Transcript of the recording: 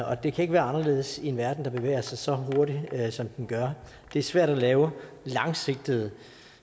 og det kan ikke være anderledes i en verden der bevæger sig så hurtigt som den gør det er svært at lave langsigtede